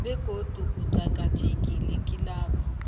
begodu uqakathekile kilabo